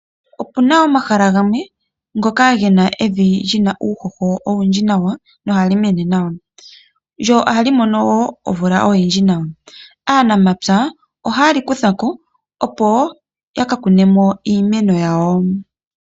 Opuna omahala gamwe ngoka gena evi liba uuhoho nohali mene nawa lyo ohali mono wo omeya ogendji nawa. Aaanamapya ohayenlikuthako, opo yaka kune iimeno yawo.